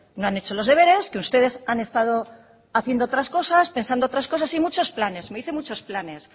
no han hecho los deberes que ustedes han estado haciendo otras cosas pensando otras cosas y muchos planes me dice muchos planes